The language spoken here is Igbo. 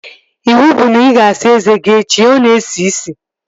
Ịwụ bụ na ị ga-asa eze gị echi! Ọ na-esi ísì